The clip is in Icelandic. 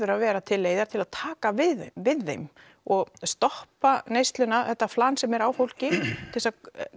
að vera til leið til að taka við við þeim og stoppa neysluna þetta flan sem er á fólki til að